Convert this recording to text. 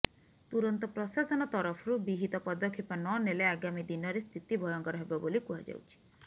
ତୁରନ୍ତ ପ୍ରଶାସନ ତରଫରୁ ବିହିତ ପଦକ୍ଷେପ ନନେଲେ ଆଗାମୀ ଦିନରେ ସ୍ଥିତି ଭୟଙ୍କର ହେବ ବୋଲି କୁହାଯାଉଛି